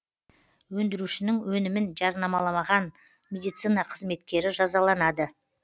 өндірушінің өнімін жарнамалаған медицина қызметкері жазаланады